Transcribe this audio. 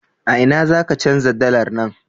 A ina za ka canja dalar nan?